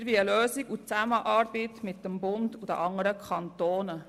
Wir wollen eine Lösung in Zusammenarbeit mit dem Bund und den anderen Kantonen.